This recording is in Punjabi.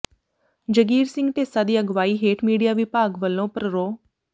ਜਗੀਰ ਸਿੰਘ ਢੇਸਾ ਦੀ ਅਗਵਾਈ ਹੇਠ ਮੀਡੀਆ ਵਿਭਾਗ ਵੱਲੋਂ ਪ੍ਰਰੋ